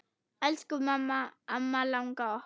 Elsku amma langa okkar.